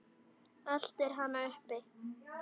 Eltir hana uppi.